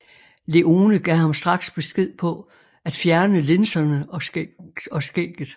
Leone gav ham straks besked på at fjerne linserne og skægget